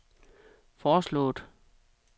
foreslået